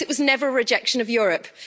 Brexit was never a rejection of Europe.